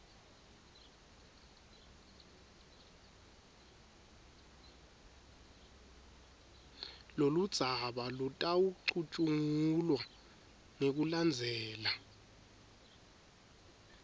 loludzaba lutawucutjungulwa ngekulandzela